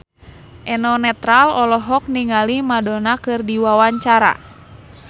Eno Netral olohok ningali Madonna keur diwawancara